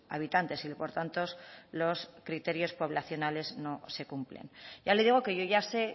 habitantes y por tanto los criterios poblacionales no se cumplen ya le digo que yo ya sé